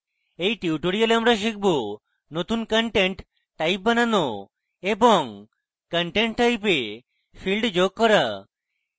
in tutorial আমরা শিখব: নতুন content type বানানো এবং content type we ফীল্ড যোগ করা